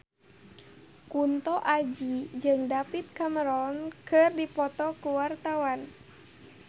Kunto Aji jeung David Cameron keur dipoto ku wartawan